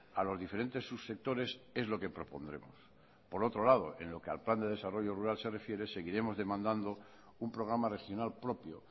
a los diferentes subsectores es lo que propondremos por otro lado en lo que al plan de desarrollo rural se refiere seguiremos demandando un programa regional propio